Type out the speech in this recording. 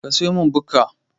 Ka siyomin Bukka